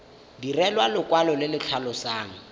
direlwa lekwalo le le tlhalosang